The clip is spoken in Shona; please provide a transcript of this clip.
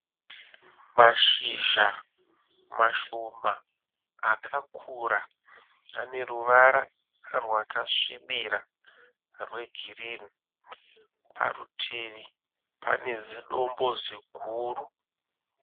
Mashizha mashoma akakura ane ruvara rwakasvibira ane ruvara rwegirini, parutivi pane zidombo ziguru.